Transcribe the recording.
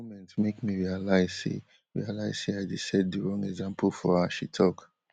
di moment make me realise say realise say i dey set di wrong example for her she tok